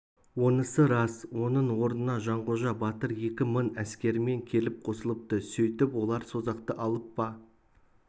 онысы рас оның орнына жанғожа батыр екі мың әскерімен келіп қосылыпты сөйтіп олар созақты алып па